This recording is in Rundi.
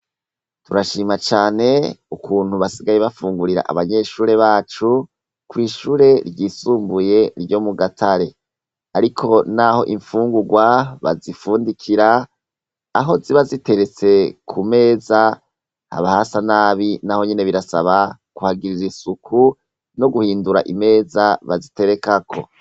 Turashima cane ukuntu basigaye bafungurira abanyeshure bacu, kw’ishure ryisumbuye ryo mu Gatare. Ariko naho infungurwa bazifundikira, aho ziba ziteretse kumeza haba hasa nabi naho nyene birasaba kuhagirira isuku no guhindura imeza baziterekako.